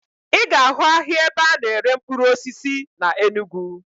Ị ga-ahụ ahịa ebe a na-ere mkpụrụ osisi na Enugu